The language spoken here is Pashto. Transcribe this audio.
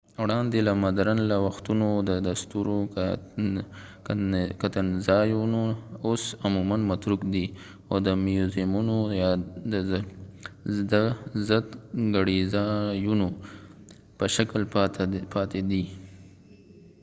وړاندې له مدرن له وختونو د ستورو کتنځایونه اوس عموماً متروک دي او د میوزیمونو یا د زدکړېځایونو په شکل پاته دي